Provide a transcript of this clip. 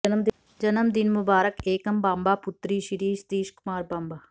ਜਨਮਦਿਨ ਮੁਬਾਰਕ ਏਕਮ ਬਾਂਬਾ ਪੁਤਰੀ ਸ਼੍ਰੀ ਸਤੀਸ਼ ਕੁਮਾਰ ਬਾਂਬਾ